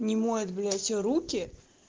не моет блять руки